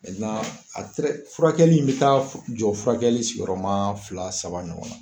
furakɛli in bɛ taa jɔ furakɛli sigiyɔrɔma fila saba ɲɔgɔn na.